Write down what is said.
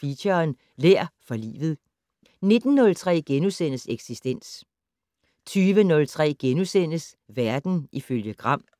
Feature: Lær for livet * 19:03: Eksistens * 20:03: Verden ifølge Gram *